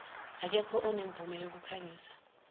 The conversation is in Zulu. aketho onemvume yokukhangisa